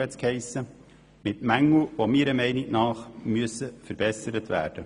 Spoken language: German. Es weist jedoch Mängel auf, die meiner Meinung nach behoben werden müssen.